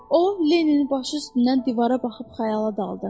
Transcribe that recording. O Lenninin başı üstündən divara baxıb xəyala daldı.